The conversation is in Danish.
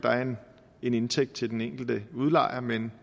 en indtægt til den enkelte udlejer men